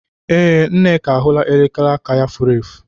Ee, Nneka ahụlaa elekere aka ya furu efu.